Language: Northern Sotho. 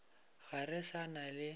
ga re sa na le